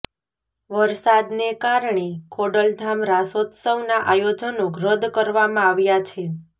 વરસાદને કારણે ખોડલધામ રાસોત્સવના આયોજનો રદ કરવામાં આવ્યા છે